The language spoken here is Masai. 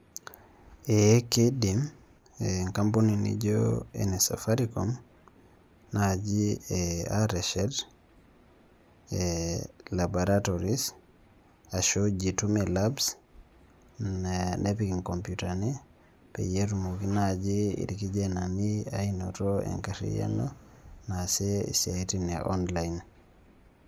Eeh kiindim enkampuni nijio ene Safaricom naji ateshet ee laboratory ashu jitume labs ee nepik nkompyutani peyie etumoki naaji irkijanani ainoto enkarriyiano naasie isiaitin e online.